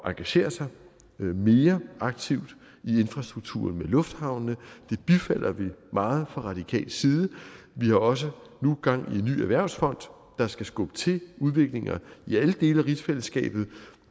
engagere sig mere aktivt i infrastrukturen med lufthavnene det bifalder vi meget fra radikal side vi har også nu gang i en ny erhvervsfond der skal skubbe til udviklinger i alle dele af rigsfællesskabet